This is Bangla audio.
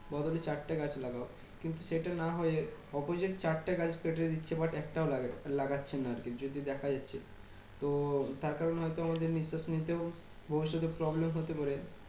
বদলে চার টা গাছ লাগাও। কিন্তু সেটা না হয়ে opposite চারটা গাছ কেটে দিচ্ছে but একটাও লাগা~ লাগছে না আর কি। যদি দেখা যাচ্ছে তো তার কারণে হয় তো আমাদের নিঃশাস নিতেও ভবিষ্যতে problem হতে পারে।